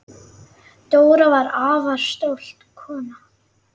Dóra var afar stolt kona.